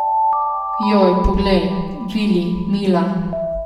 Joj, poglej, Vili, Mila ...